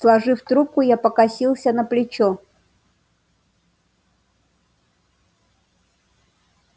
сложив трубку я покосился на плечо